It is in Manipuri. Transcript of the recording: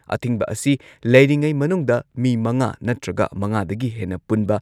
ꯑꯊꯤꯡꯕ ꯑꯁꯤ ꯂꯩꯔꯤꯉꯩ ꯃꯅꯨꯡꯗ ꯃꯤ ꯃꯉꯥ ꯅꯠꯇ꯭ꯔꯒ ꯃꯉꯥꯗꯒꯤ ꯍꯦꯟꯅ ꯄꯨꯟꯕ